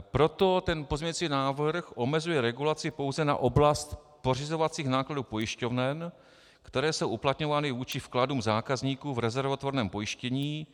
Proto ten pozměňovací návrh omezuje regulaci pouze na oblast pořizovacích nákladů pojišťoven, které jsou uplatňovány vůči vkladům zákazníků v rezervotvorném pojištění,